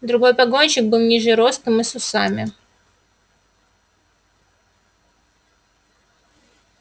другой погонщик был ниже ростом и с усами